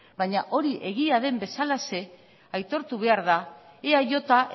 baina hori egian den bezalaxe aitortu behar da eaj